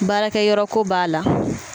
Baarakɛyɔrɔ ko b'a la